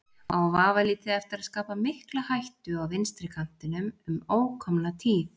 Á vafalítið eftir að skapa mikla hættu á vinstri kantinum um ókomna tíð.